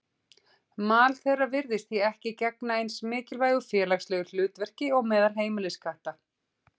Mal þeirra virðist því ekki gegna eins mikilvægu félagslegu hlutverki og meðal heimiliskatta.